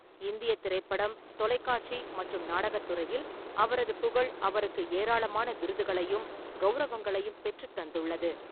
இந்திய திரைப்படம், தொலைக்காட்சி மற்றும் நாடகத் துறையில் அவரது புகழ் அவருக்கு ஏராளமான விருதுகளையும் கௌரவங்களையும் பெற்றுத் தந்துள்ளது.